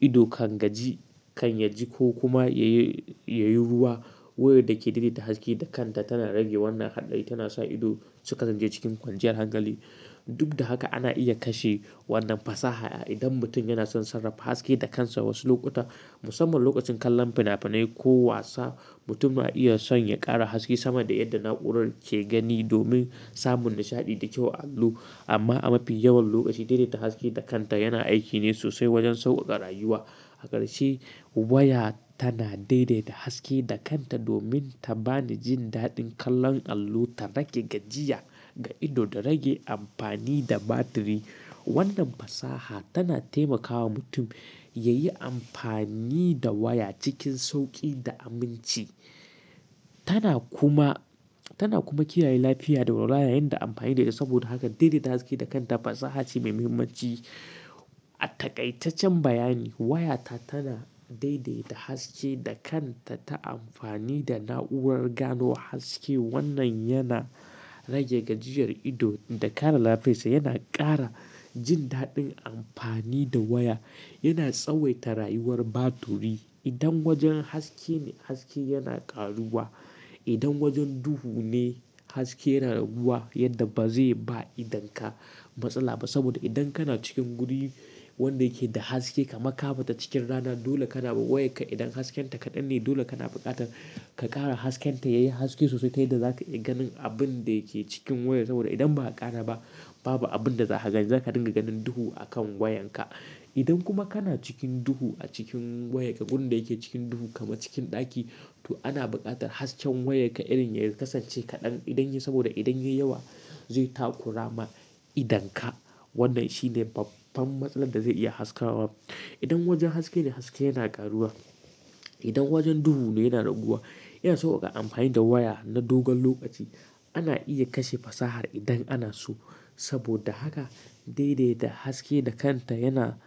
ido kan gaji, kan yaji ko kuma ya yi, ya yi ruwa. Wayar da ke daidaita haske da kanta tana rage wannan haɗari, tana sa ido su kasance cikin kwanciyar hankali. Duk da haka, ana iya kashe wannan fasaha, idan mutum yana son sarrafa haske da kansa wasu lokuta, musamman lokacin kallon fina-finai ko wasa. Mutum na iya son ya ƙara haske sama da yadda na'urar ke gani domin samun nishaɗi da kyau a allo. Amma a mafi yawan lokaci daidaita haske da kanta yana aiki ne sosai wajen sauƙaƙa rayuwa. Hakasance waya tana daidaita haske da kanta domin ta bani jin daɗin kallon allo, ta rage gajiya ga ido, da rage amfani da batiri. Wannan fasaha tana taimakawa mutum ya yi amfani da waya cikin sauƙi da aminci. Tana kuma, tana kuma kiyaye lafiyar da walwala yayin da amfani da ita. Saboda haka daidaita haske da kanta, fasaha ce mai muhimmanci. A taƙaitaccen bayani, wayata tana daidaita haske da kanta ta amfani da na'urar gano haske. Wannan yana rage gajiyar ido da kare lafiyarsa. Yana ƙara jin daɗin amfani da waya. Yana tsawaita rayuwar batiri. Idan wajen haske ne, haske yana ƙaruwa. Idan wajen duhu ne, haske yana raguwa yadda ba zai ba idonka matsala ba. Saboda idan kana cikin guri, wanda yake da haske kamar ka fita cikin rana dole kana ba wayarka idan hasken ta kaɗan ne, dole kana buƙatar ka ƙara hasken ta ya yi haske sosai ta yadda za ka iya ganin abun da yake cikin wayar saboda idan ba a ƙara ba babu abun da za ka gani. Za ka dinga ganin duhu a kan wayanka. Idan kuma kana cikin duhu a cikin wayarka gurin da yake cikin duhu kama cikin ɗaki, to ana buƙatar hasken wayarka irin ya kasance kaɗan idan ya yi saboda idan ya yi yawa zai takurama idonka. Wannan shine babban matsalar da zai iya haskawa. Idan wajen haske ne, haske yana ƙaruwa. Idan wajen duhu ne yana raguwa. Yana sauƙaƙa amfani da waya na dogon lokaci. Ana iya kashe fasahar idan ana so. Saboda haka daidaita haske da kanta yana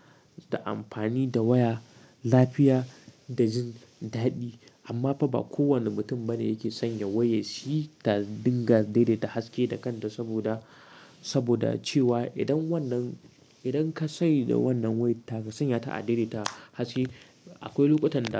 da amfani da waya, lafiya da jin daɗi. Amma fa ba kowane mutum bane yake sanya wayar shi, ta dinga daidaita haske da kanta saboda, saboda cewa idan wannan, idan ka sanya da wannan waya taka sanya ta a daidaita haske akwai lokutan da.